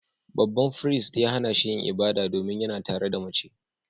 Babban firist ya hana shi yin ibada, domin yana tare da mace